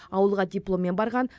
ауылға дипломмен барған